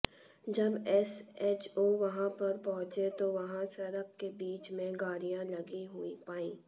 जब एसएचओ वहां पर पहुंचे तो वहां सड़क के बीच में गाड़ियां लगी हुई पाईं